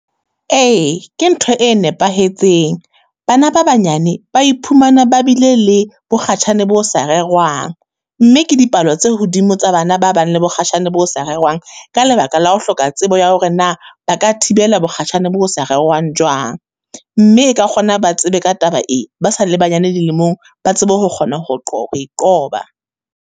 Ee, ke ntho e nepahetseng, bana ba banyane ba iphumana ba bile le bo kgatjhane bo sa rerwang. Mme ke dipalo tse hodimo tsa bana ba bang le mokgatjhane bo sa rerwang ka lebaka la ho hloka tsebo ya hore na ba ka thibela mokgatjhane bo sa rerwang jwang? Mme e ka kgona ba tsebe ka taba e ba sa le banyane dilemong, ba tsebe ho kgona ho ho e qoba.